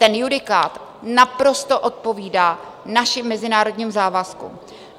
Ten judikát naprosto odpovídá našim mezinárodním závazkům.